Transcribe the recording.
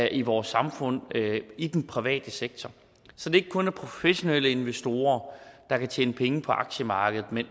i vores samfund i den private sektor så det ikke kun er professionelle investorer der kan tjene penge på aktiemarkedet